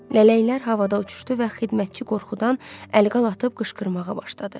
Lələklər havada uçuşdu və xidmətçi qorxudan əl-qol atıb qışqırmağa başladı.